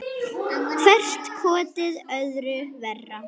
Hvert kotið öðru verra.